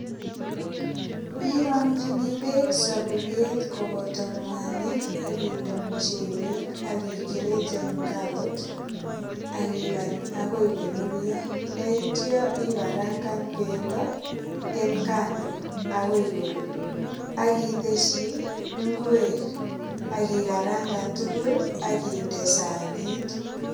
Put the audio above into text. Irongchini beek saburiet koboto mwanik ak inde muchelek ak igreten karot ak igany agoi korurio. Ndaityo ikarangan bendo en kando agoi korur ak itesyi ingwek ak ikarangan tugul ak inde sanit.